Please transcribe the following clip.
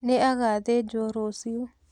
Nĩ agathĩjwo rũciũ.